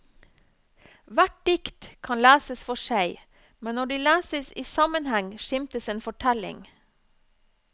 Hvert dikt kan leses for seg, men når de leses i sammenheng skimtes en fortelling.